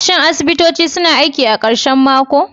Shin asibitoci suna aiki a karshen mako?